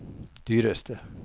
dyreste